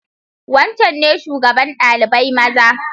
Wancan ne shugaban dalibai maza?